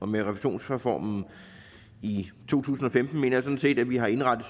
med refusionsreformen i to tusind og femten mener jeg sådan set at vi har indrettet